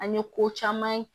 An ye ko caman ye